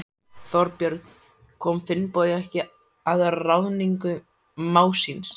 Þorbjörn: Kom Finnbogi ekki að ráðningu mágs síns?